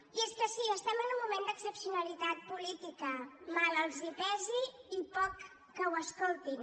i és que sí estem en un moment d’excepcionalitat política mal els pesi i poc que ho escoltin